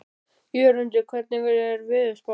Jörundur, hvernig er veðurspáin?